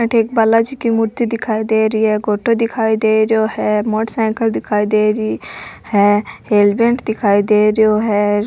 अठे एक बालाजी की मूर्ति दिखाई दे रही है फोटो दिखाई दे रही है मोटर साइकल दिखाई दे रही है हेलमेट दिखाई दे रियो है।